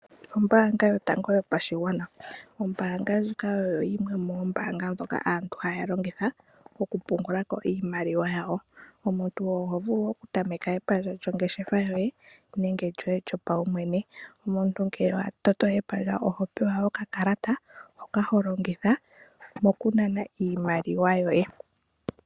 Ombaanga yotango yopashigwana, ombaanga ndjika oyo yimwe yoombaanga dhoka aantu haya longitha mokupungula ko iimaliwa yawo. Omuntu oho vulu oku tameka epandja lyongeshefa yoye nenge lyoye lyopaumwene. Omuntu ngele wa toto epandja oho pewa oka kalata hoka ho longitha moku nana iimaliwa yoye.